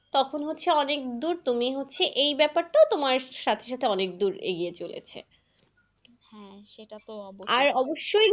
তখন হচ্ছে অনেক দূর তুমি হচ্ছে এই ব্যাপারটা তোমার সাথে সাথে অনেক দূর এগিয়ে চলেছে হ্যাঁ সেটা তো অবশ্যই। আর অবশ্যই।